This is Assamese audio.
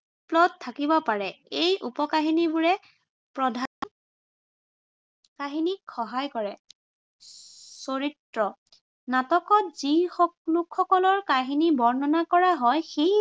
plot থাকিব পাৰে। এই উপ-কাহিনীবোৰে প্ৰধান কাহিনীক সহায় কৰে চৰিত্ৰ- নাটকত যি লোকসকলৰ কাহিনী বৰ্ণনা কৰা হয় সেই